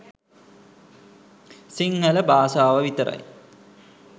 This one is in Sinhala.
සිංහල බාසාව විතරයි